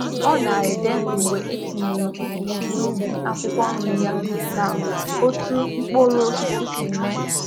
Ọ na-ede mgbe e tinyere mkpuchi n’ubi akwụkwọ nri ya na otú mkpụrụ osisi si mee.